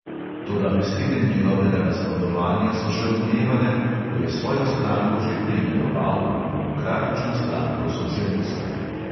Toda besede njegovega nasprotovanja so še odmevale, ko je svojo stranko že preimenoval v demokratično stranko socialistov.